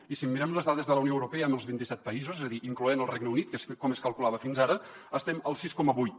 i si mirem les dades de la unió europea amb els vint i set països és a dir incloent hi el regne unit que és com es calculava fins ara estem al sis coma vuit